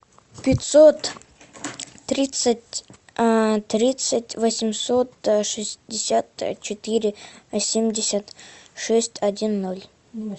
пятьсот тридцать тридцать восемьсот шестьдесят четыре семьдесят шесть один ноль